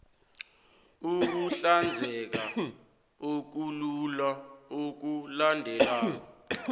ukuhlanzeka okulula okulandelako